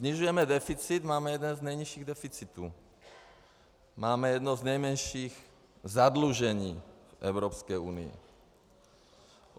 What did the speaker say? Snižujeme deficit, máme jeden z nejnižších deficitů, máme jedno z nejmenších zadlužení v Evropské unii.